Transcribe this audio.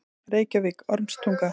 Reykjavík: Ormstunga.